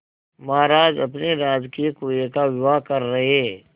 महाराज अपने राजकीय कुएं का विवाह कर रहे